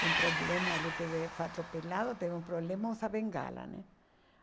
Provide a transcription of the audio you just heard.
tem problema, ele teve, foi atropelado, teve um problema, usa bengala, né?